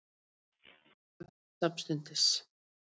Hesturinn drapst samstundis